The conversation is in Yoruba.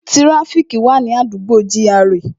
Tíráfíkì wà ní àdúgbò gra